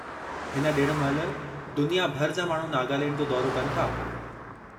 हिन ॾिण महिल दुनिया भर जा माण्हू नागालैंड जो दौरो कनि था।